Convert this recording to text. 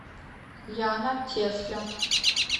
яна тесля